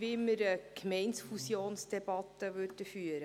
würden wir eine Gemeindefusionsdebatte führen.